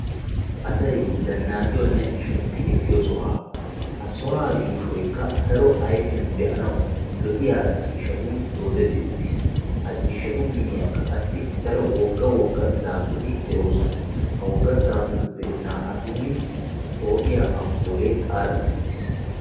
Asayi zannaqiyonne shemppi ekkiyo sohuwa. Ha sohuwa yuushoykka daro ayfiyan be"anawu lo'iya ciishshatun doodetti uttis. Ha ciishshatu miyyiyankka daro wogga wogga zaafeti de'oosona. Ha wogga zaafetuppe naa'atuuni poo'iya amppuulee xaaxetti uttiis.